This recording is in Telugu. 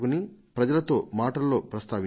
నేను ఒకసారి అన్నాను కదా